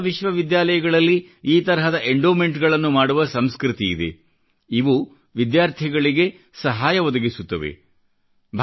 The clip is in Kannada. ವಿಶ್ವದ ಹೆಸರಾಂತ ವಿಶ್ವವಿದ್ಯಾಲಯಗಳಲ್ಲಿ ಈ ತರಹದ ಎಂಡೋಮೆಂಟ್ಗಳನ್ನು ಮಾಡುವ ಸಂಸ್ಕೃತಿಯಿದೆ ಅವು ವಿದ್ಯಾರ್ಥಿಗಳಿಗೆ ಸಹಾಯ ಒದಗಿಸುತ್ತವೆ